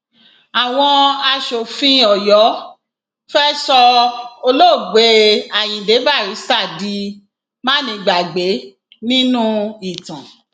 àwọn aṣòfin ọyọ fẹẹ sọ olóògbé ayíǹde barrister di mánigbàgbé nínú ìtàn